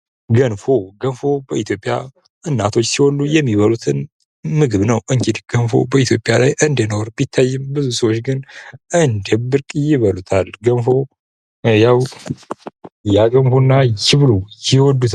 ገንፎ በኢትዮጵያ እናቶች ሲወልዱ የሚባሉት ምግብ ነው እንግዲህ ገንፎ እንደ ነውር ቢታየም ብዙ ሰዎች ግን እንደ ብርቅዬ ይበሉታል። ገንፎ እያገፉና ይብሉ ይወዱታል።